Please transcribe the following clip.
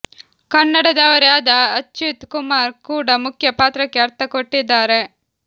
ಕನ್ನಡದವರೇ ಆದ ಅಚ್ಯುತ್ ಕುಮಾರ್ ಕೂಡ ಮುಖ್ಯ ಪಾತ್ರಕ್ಕೆ ಅರ್ಥ ಕೊಟ್ಟಿದ್ದಾರೆ